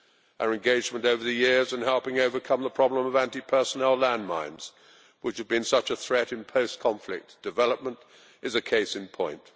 Our engagement over the years in helping overcome the problem of anti personnel landmines, which have been such a threat in post conflict development, is a case in point.